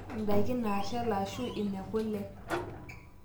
indaiki naashal aashu inekule